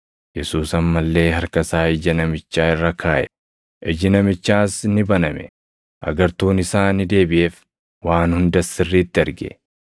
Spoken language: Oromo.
Yesuus amma illee harka isaa ija namichaa irra kaaʼe. Iji namichaas ni baname; agartuun isaa ni deebiʼeef; waan hundas sirriitti arge.